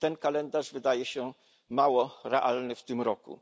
Ten kalendarz wydaje się mało realny w tym roku.